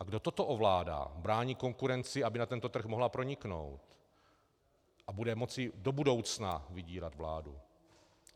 A kdo toto ovládá, brání konkurenci, aby na tento trh mohla proniknout, a bude moci do budoucna vydírat vládu?